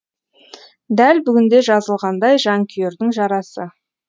дәл бүгінде жазылғандай жанкүйердің жарасы